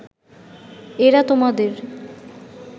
এঁরা তোমাদের